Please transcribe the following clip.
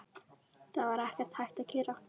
Það var ekkert hægt að gera.